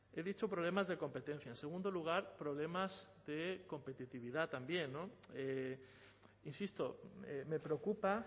he dicho problemas de competencia en segundo lugar problemas de competitividad también insisto me preocupa